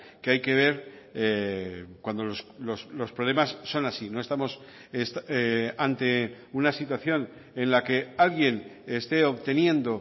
que hay que ver cuando los problemas son así no estamos ante una situación en la que alguien esté obteniendo